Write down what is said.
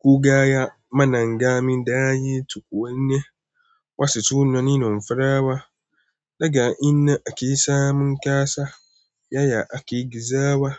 Ku ga ya mana gami da ye tu wane wasu tunani na farawa. Daga ina ake samun ƙassa? Yaya ake gizawa?